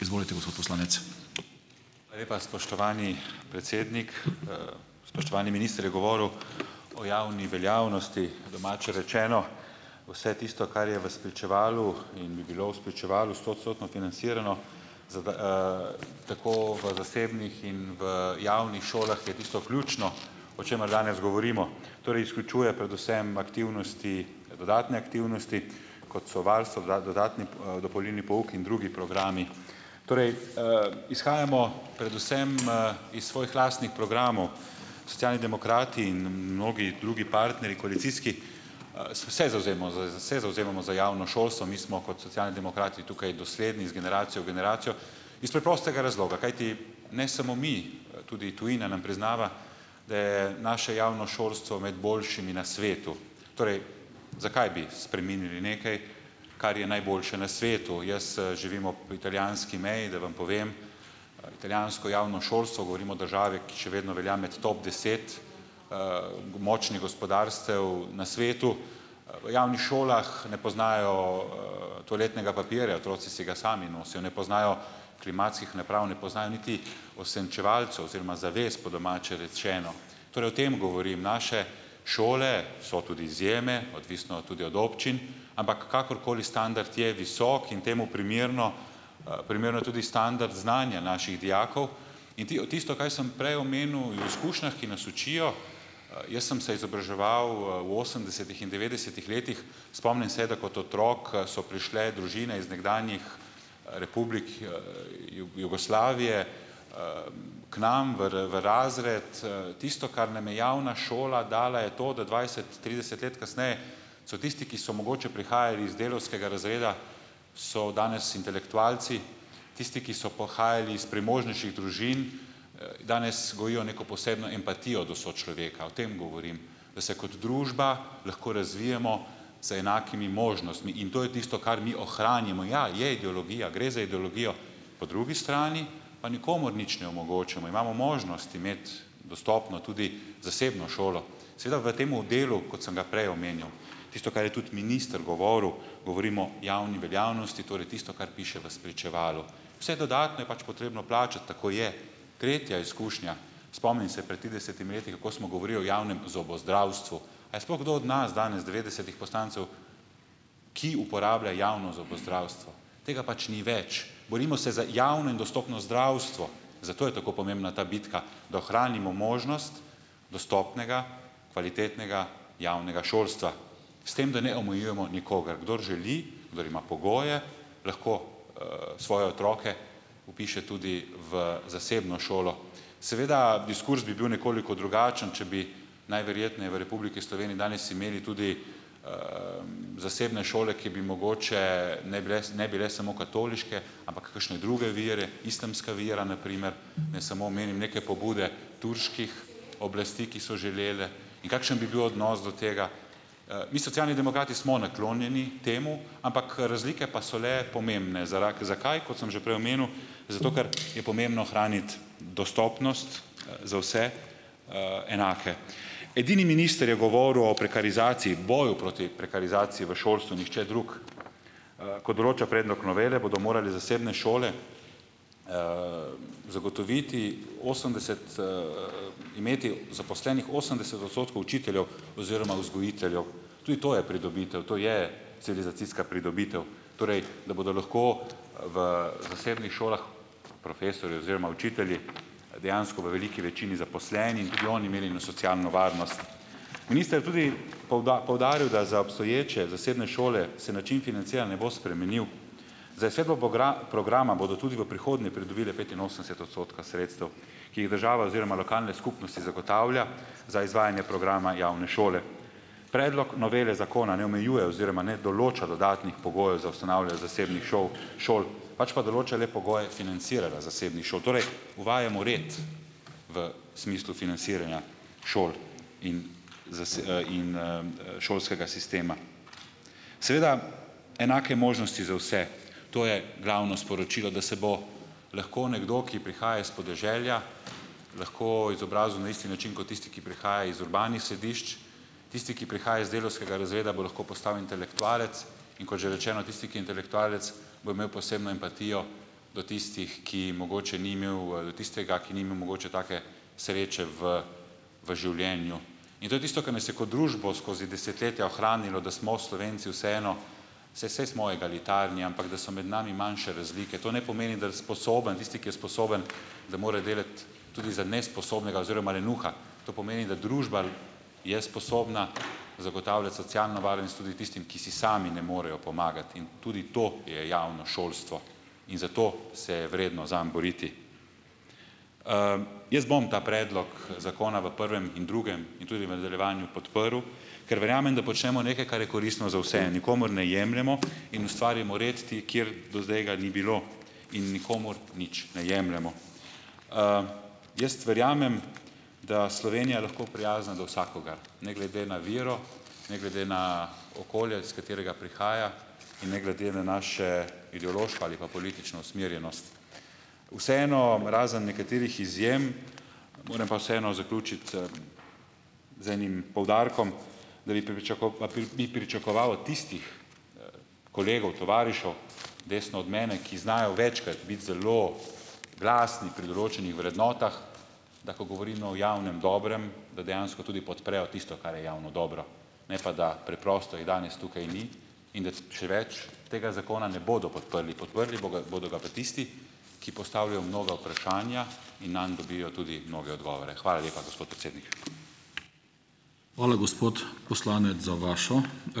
Hvala lepa, spoštovani predsednik. Spoštovani minister je govoril o javni veljavnosti. Po domače rečeno, vse tisto, kar je v spričevalu in bi bilo v spričevalu, stoodstotno financirano, za tako v zasebnih in v javnih šolah, je tisto ključno, o čemer danes govorimo. Torej, izključuje predvsem aktivnosti, dodatne aktivnosti, kot so varstvo, dodatni, dopolnilni pouk in drugi programi. Torej, izhajamo predvsem, iz svojih lastnih programov. Socialni demokrati in mnogi drugi partnerji, koalicijski, se se zavzemamo za javno šolstvo. Mi smo kot socialni demokrati tukaj dosledni iz generacije v generacijo iz preprostega razloga, kajti ne samo mi, tudi tujina nam priznava, da je naše javno šolstvo med boljšimi na svetu. Torej, zakaj bi spreminjali nekaj, kar je najboljše na svetu. Jaz, živim ob italijanski meji, da vam povem. Italijansko javno šolstvo, govorim o državi, ki še vedno velja med top deset, močnih gospodarstev na svetu, v javnih šolah ne poznajo, toaletnega papirja. Otroci si ga sami nosijo. Ne poznajo klimatskih naprav, ne poznajo niti osenčevalcev oziroma zaves, po domače rečeno. Torej o tem govorim. Naše šole, so tudi izjeme, odvisno tudi od občin, ampak kakorkoli standard je visok in temu primerno primeren je tudi standard znanja naših dijakov in tisto, kar sem prej omenil, o izkušnjah, ki nas učijo, jaz sem se izobraževal v osemdesetih in devetdesetih letih, spomnim se, da kot otrok so prišle družine iz nekdanjih republik, Jugoslavije, k nam v razred. Tisto, kar nam je javna šola dala, je to, da dvajset, trideset let kasneje so tisti, ki so mogoče prihajali iz delavskega razreda, so danes intelektualci. Tisti, ki so pa uhajali iz premožnejših družin, danes gojijo neko posebno empatijo do sočloveka. O tem govorim, da se kot družba lahko razvijemo z enakimi možnostmi in to je tisto, kar mi ohranimo. Ja, je ideologija, gre za ideologijo, po drugi strani pa nikomur nič ne omogočamo, imamo možnost imeti dostopno tudi zasebno šolo. Seveda v temu delu, kot sem ga prej omenjal, tisto, kar je tudi minister govoril, govorimo o javni veljavnosti, torej tisto, kar piše v spričevalu. Vse dodatno je pač potrebno plačati, tako je. Tretja izkušnja. Spomnim se, pred tridesetimi leti, kako smo govorili o javnem zobozdravstvu. A je sploh kdo od nas, danes devetdesetih poslancev, ki uporablja javno zobozdravstvo. Tega pač ni več. Borimo se za javno in dostopno zdravstvo, zato je tako pomembna ta bitka, da ohranimo možnost dostopnega, kvalitetnega javnega šolstva, s tem, da ne omejujemo nikogar. Kdor želi, kdor ima pogoje, lahko, svoje otroke vpiše tudi v zasebno šolo. Seveda diskurz bi bil nekoliko drugačen, če bi najverjetneje v Republiki Sloveniji danes imeli tudi, zasebne šole, ki bi mogoče ne bile, ne bile samo katoliške, ampak kakšne druge vere, islamska vera na primer. Naj samo omenim neke pobude turških oblasti, ki so želele in kakšen bi bil odnos do tega. Mi, Socialni demokrati, smo naklonjeni temu, ampak razlike pa so le pomembne. Zakaj? Kot sem že prej omenil, zato ker je pomembno ohraniti dostopnost za vse, enake. Edini minister je govoril o prekarizaciji, boju proti prekarizaciji v šolstvu, nihče drug. Kot določa predlog novele, bodo morale zasebne šole zagotoviti, osemdeset, imeti zaposlenih osemdeset odstotkov učiteljev oziroma vzgojiteljev. Tudi to je pridobitev. To je civilizacijska pridobitev. Torej, da bodo lahko v zasebnih šolah profesorji oziroma učitelji dejansko v veliki večini zaposleni in tudi oni imeli eno socialno varnost. Minister je tudi poudaril, da za obstoječe zasebne šole se način financiranja ne bo spremenil. Za izvedbo programa bodo tudi v prihodnje pridobile petinosemdeset odstotka sredstev, ki jih država oziroma lokalne skupnosti zagotavlja za izvajanje programa javne šole. Predlog novele zakona ne omejuje oziroma ne določa dodatnih pogojev za ustanavljanje zasebnih šol, pač pa določa le pogoje financiranja zasebnih šol. Torej uvajamo red v smislu financiranja šol in in, šolskega sistema. Seveda enake možnosti za vse, to je glavno sporočilo, da se bo lahko nekdo, ki prihaja iz podeželja lahko izobrazil na isti način kot tisti, ki prihaja iz urbanih središč. Tisti, ki prihaja iz delavskega razreda, bo lahko postal intelektualec. In kot že rečeno, tisti, ki je intelektualec, bo imel posebno empatijo do tistih, ki mogoče ni imel, ali do tistega, ki ni imel mogoče take sreče v v življenju. In to je tisto, kar nas je kot družbo skozi desetletja ohranilo, da smo Slovenci vseeno, saj saj smo egalitarni, ampak da so med nami manjše razlike. To ne pomeni, da sposoben, da tisti, ki je sposoben, da mora delati tudi za nesposobnega oziroma lenuha. To pomeni, da družba je sposobna zagotavljati socialno varnost tudi tistim, ki si sami ne morejo pomagati. In tudi to je javno šolstvo. In zato se je vredno zanj boriti. Jaz bom ta predlog zakona v prvem in drugem in tudi v nadaljevanju podprl, ker verjamem, da počnemo nekaj, ker je koristno za vse. Nikomur ne jemljemo in ustvarimo red, kjer do zdaj ga ni bilo in nikomur nič ne jemljemo. Jaz verjamem, da Slovenija lahko prijazna do vsakogar, ne glede na vero, ne glede na okolje, s katerega prihaja, in ne glede na naše ideološko ali pa politično usmerjenost. Vseeno, razen nekaterih izjem, moram pa vseeno zaključiti, z enim poudarkom, da bi bi pričakoval od tistih kolegov, tovarišev, desno od mene, ki znajo večkrat biti zelo glasni pri določenih vrednotah, da ko govorimo o javnem dobrem, da dejansko tudi podprejo tisto, kar je javno dobro. Ne pa, da preprosto jih danes tukaj ni in da še več, tega zakona ne bodo podprli. Podprli boga bodo ga pa tisti, ki postavljajo mnoga vprašanja in nanje dobijo tudi mnoge odgovore. Hvala lepa, gospod predsednik.